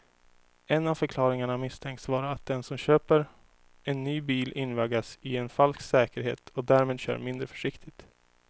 En av förklaringarna misstänks vara att den som köper en ny bil invaggas i en falsk säkerhet och därmed kör mindre försiktigt.